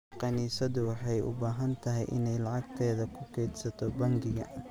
Kaniisaddu waxay u baahan tahay inay lacagteeda ku kaydsato bangiga.